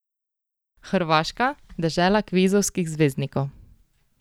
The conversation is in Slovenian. Hrvaška, dežela kvizovskih zvezdnikov.